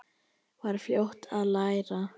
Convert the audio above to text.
Var fljót að læra.